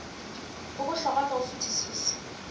o bohlokwa ka ho fetisisa